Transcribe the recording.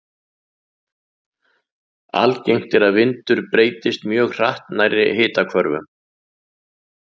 Algengt er að vindur breytist mjög hratt nærri hitahvörfunum.